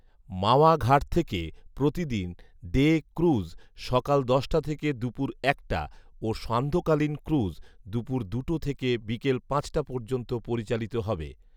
মাওয়া ঘাট থেকে প্রতিদিন ডে ক্রুজ সকাল দশটা থেকে দুপুর একটা ও সান্ধ্যকালীন ক্রুজ দুপুর দুটো থেকে বিকেল পাঁচটা পর্যন্ত পরিচালিত হবে